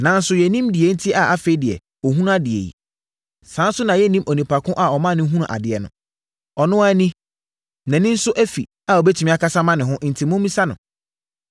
Nanso yɛnnim deɛ enti a afei deɛ ɔhunu adeɛ yi. Saa ara nso na yɛnnim onipa ko a ɔma ɔhunuu adeɛ no. Ɔno ara ni, nʼani nso afi a ɔbɛtumi akasa ama ne ho enti mommisa no.”